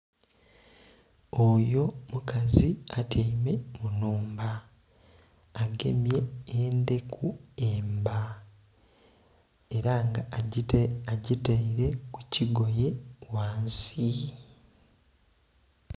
Oyo mukazi atyaime mu nnhumba. Agemye endheku emba ela nga agitaile ku kigoye ghansi.